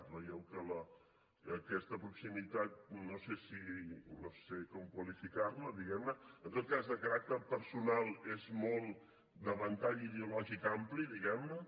veieu que aquesta proximitat no sé com qualificar la diguem ne en tot cas de caràcter personal és molt de ventall ideològic ampli diguem ne